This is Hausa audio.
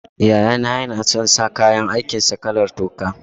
Yayana yana son sa kayan aikin sa kalar toka.